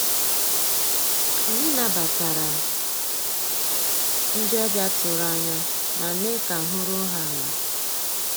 Ànyị́ nabàtàrà ndị́ ọ̀bịá tụ̀rụ̀ ànyá má meé ká àhụ́ rúó há àlà.